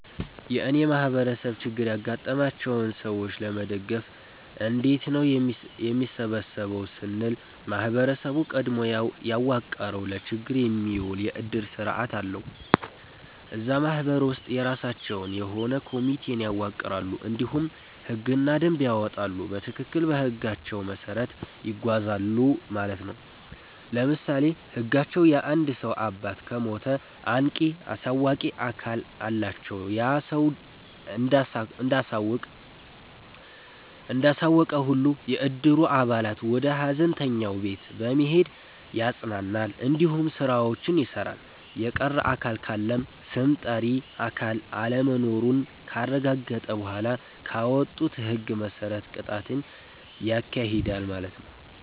የእኔ ማህበረሰብ ችግር ያጋጠማቸውን ሰዎች ለመደገፍ እንዴት ነው የሚሰበሰበው ስንል ማህበረሰቡ ቀድሞ ያዋቀረዉ ለችግር የሚዉል የዕድር ስርዓት አለዉ። እዛ ማህበር ውስጥ የራሳቸዉ የሆነ ኮሚቴን ያዋቅራሉ እንዲሁም ህግና ደንብን ያወጣሉ በትክክል በህጋቸዉ መሰረት ይጓዛሉ ማለት ነዉ። ለምሳሌ ህጋቸዉ የአንድ ሰዉ አባት ከሞተ አንቂ(አሳዋቂ)አካል አላቸዉ ያ ሰዉ እንዳሳወቀ ሁሉም የዕድሩ አባላት ወደ ሀዘንተኛዉ ቤት በመሄድ ያፅናናል እንዲሁም ስራዎችን ይሰራል። የቀረ አካል ካለም ስም ጠሪ አካል አለመኖሩን ካረጋገጠ በኋላ ባወጡት ህግ መሰረት ቅጣትን ያካሂዳል ማለት ነዉ።